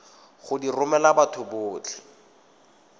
go di romela batho botlhe